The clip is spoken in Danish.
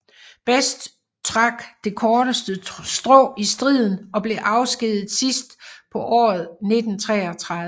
Best trak det korteste strå i striden og blev afskediget sidst på året 1933